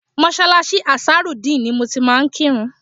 Mọ́ṣáláṣí Ansarudeen ni mo ti máa ń kírun